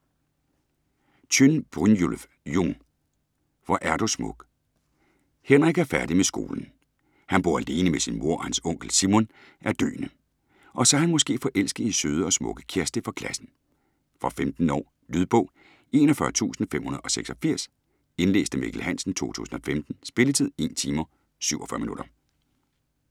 Tjønn, Brynjulf Jung: Hvor er du smuk Henrik er færdig med skolen. Han bor alene med sin mor og hans onkel, Simon, er døende. Og så er han måske forelsket i søde og smukke Kjersti fra klassen. Fra 15 år. Lydbog 41586 Indlæst af Mikkel Hansen, 2015. Spilletid: 1 timer, 47 minutter.